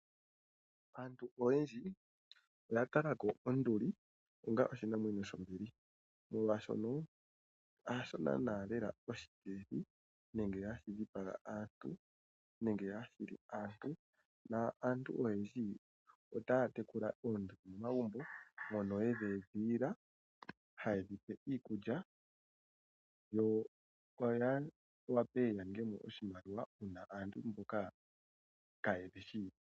Aantu oyendji oya tala ko onduli onga oshinamwenyo shombili molwashoka hasho naana lela oshipwidhi nenge hashi dhipaga aantu nenge hashi li aantu. Naantu oyendji otaya tekula oonduli momagumbo, mono yedhi edhilila, haye dhi pe iikulya, yo oya wape ya ninge mo oshimaliwa uuna aantu mboka kaaye dhi shi taye ya okudhi tala.